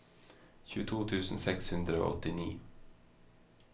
tjueto tusen seks hundre og åttini